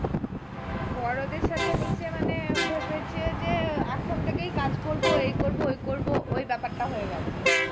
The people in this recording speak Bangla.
বড়দের সাথে মিশে মানে ভেবেছে যে এখন থেকেই কাজ করব এই করব ওই করব ওই ব্যাপারটা হয়ে গেছে